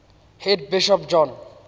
head bishop john